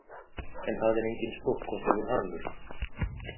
En það er enginn stórkostlegur harmur